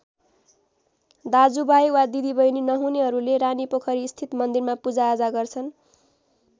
दाजुभाइ वा दिदीबहिनी नहुनेहरूले रानीपोखरी स्थित मन्दिरमा पूजाआजा गर्छन्।